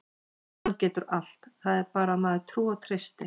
Hann getur allt, það er bara að maður trúi og treysti.